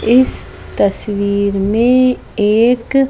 इस तस्वीर में एक --